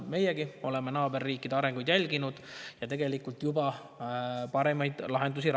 Me oleme naaberriikide arengut jälginud ja tegelikult juba rakendame paremaid lahendusi.